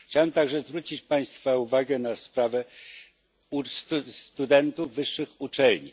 Chciałbym też zwrócić Państwa uwagę na sprawę studentów wyższych uczelni.